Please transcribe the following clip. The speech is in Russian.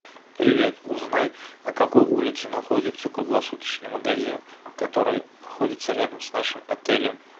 привет узнай на какой улице находится круглосуточный магазин который находится рядом с нашим отелем